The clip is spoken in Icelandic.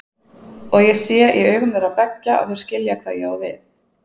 Og ég sé í augum þeirra beggja að þau skilja hvað ég á við.